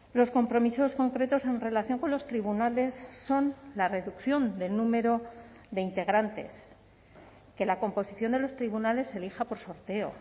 los compromisos concretos en relación con los tribunales son la reducción del número de integrantes que la composición de los tribunales elija por sorteo